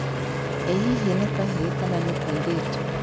Ĩ hihi nĩ kahĩĩ kana nĩ kairĩtu?